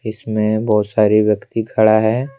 इसमे बहोत सारे व्यक्ति खड़ा है।